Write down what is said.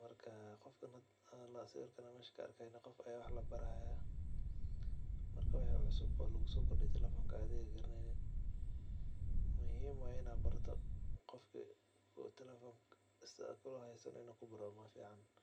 marka sida meesha kaarko qof aya wax labaraya marka wixi cusub oo lugusokordiyo telefonka oo ad adiga garaneynin muhhim waye in ad barato oo telefon sida uheysani barato.